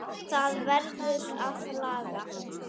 Það verður að laga.